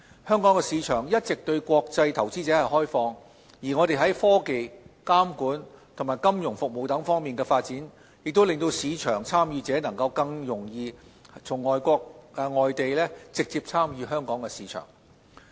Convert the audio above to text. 香港市場一直對國際投資者開放，而我們在科技、監管及金融服務等方面的發展，亦令市場參與者能夠更容易從外地直接參與香港的市場。